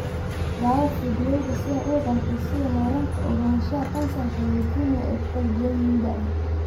(Daawo fiidiyowga si aad u ogaatid sida heerarka ogaanshaha kansarka leukemia ay u kala duwan yihiin da'da.